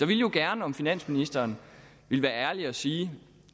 ville jo gerne om finansministeren ville være ærlig og sige